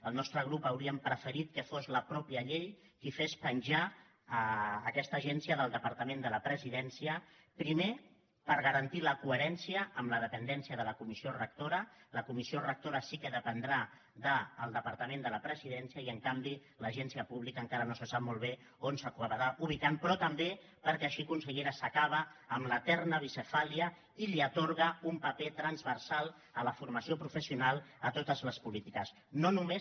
el nostre grup hauríem preferit que fos la mateixa llei qui fes penjar aquesta agència del departament de la presidència primer per garantir la coherència amb la dependència de la comissió rectora la comissió rectora sí que dependrà del departament de la presidència i en canvi l’agència pública encara no se sap molt bé on s’acabarà ubicant però també perquè així consellera s’acaba amb l’eterna bicefàlia i li atorga un paper transversal a la formació professional a totes les polítiques